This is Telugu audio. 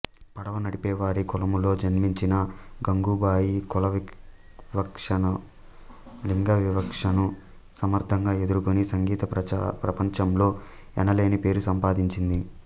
పడవ నడిపే వారి కులములో జన్మించిన గంగూబాయి కులవివక్షను లింగవివక్షను సమర్థంగా ఎదుర్కొని సంగీత ప్రపంచంలో ఎనలేని పేరు సంపాదించింది